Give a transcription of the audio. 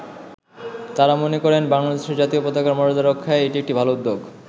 তারা মনে করেন, বাংলাদেশের জাতীয় পতাকার মর্যাদা রক্ষায় এটি একটি ভালো উদ্যোগ।